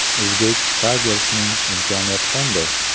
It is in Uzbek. Uzbek Tigers’ning imkoniyati qanday?